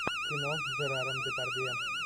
кино с жераром депардье